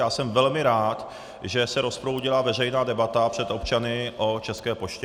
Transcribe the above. Já jsem velmi rád, že se rozproudila veřejná debata před občany o České poště.